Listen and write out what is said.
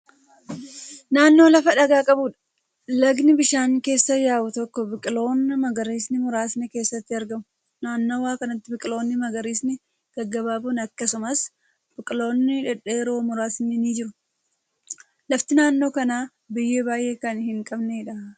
Naannoo lafa dhagaa qabuudha. lagni bishaan keessa yaa'u tokko biqiltoonni magariisni muraasni keessatti argamu. naannawa kanatti biqiltoonni magariisni gaggabaaboon akkasumas biqiltoonni dhedheeroo muraasni ni jiru. lafti naannoo kanaa biyyee baay'ee Kan hin qabneedha.